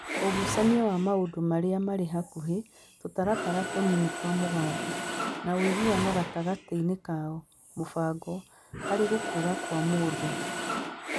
Ũgucania wa maũndũ marĩa marĩ hakuhĩ (tũtaratara tũnini twa mĩgambo) na ũiguano gatagatĩ-inĩ kao (mũbango) harĩ gũkũra kwa mũndũ.